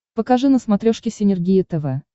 покажи на смотрешке синергия тв